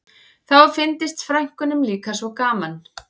Þá fyndist frænkunum líka svo gaman